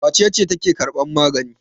Wace ce take karban magani?